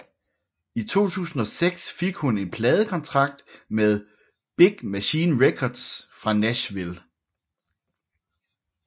I 2006 fik hun en pladekontrakt med Big Machine Records fra Nashville